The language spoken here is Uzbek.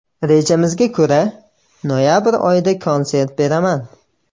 Rejamizga ko‘ra, noyabr oyida konsert beraman.